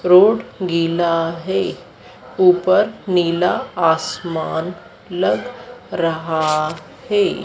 Road गीला है ऊपर नीला आसमान लग रहा है।